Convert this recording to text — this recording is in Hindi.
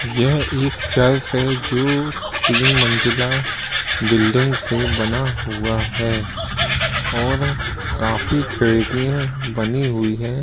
यह एक चर्च है जो तीन मंज़िला बिल्डिंग से बना हुआ है और काफी खिड़किये बनी हुई है।